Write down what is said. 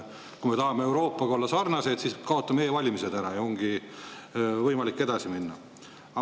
Kui me tahame Euroopaga sarnased olla, siis kaotame e-valimised ära, ja ongi võimalik edasi minna.